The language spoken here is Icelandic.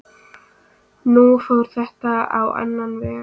Nú fór þetta á annan veg.